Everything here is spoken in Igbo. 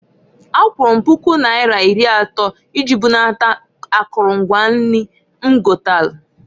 Akwụrụ m pụku naira iri atọ iji bunata akụlụ mgwa nri m gotalụ.